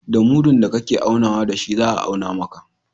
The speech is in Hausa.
Da mudun da ka ke aunawa da shi za a auna maka.